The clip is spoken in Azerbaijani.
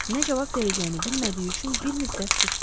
Nə cavab verəcəyini bilmədiyi üçün bir müddət sustu.